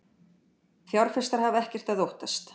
Fjárfestar hafa ekkert að óttast